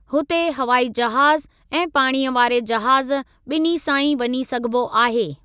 हुते हवाई जहाज़ ऐं पाणीअ वारे जहाज़ ॿिन्हीं सां ई वञी सघिबो आहे।